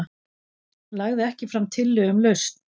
Lagði ekki fram tillögu um lausn